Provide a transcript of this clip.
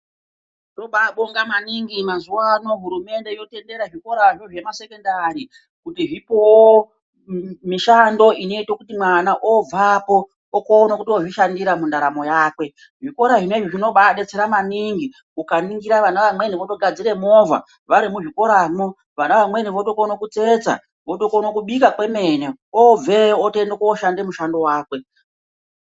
Tobabonga maningi mazuwano hurumende yotendera zvikorazvo zvemasekendari kuti zvipowo mishando inoite kuti mwana obvapo okona kotozvishandira mundaramo yakwe. Zvikora zvinezvi zvinobabetsera maningi ukaningira vana vamweni votogadzire movha vari muzvikoramwo, vana vamweni vatokona kutsetsa votokona kubika kwemene obveyo otoenda koshande mushando wakwe.